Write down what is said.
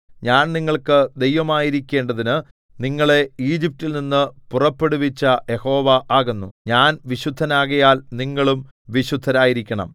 ഞാൻ നിങ്ങൾക്ക് ദൈവമായിരിക്കേണ്ടതിനു നിങ്ങളെ ഈജിപ്റ്റിൽനിന്നു പുറപ്പെടുവിച്ച യഹോവ ആകുന്നു ഞാൻ വിശുദ്ധനാകയാൽ നിങ്ങളും വിശുദ്ധരായിരിക്കണം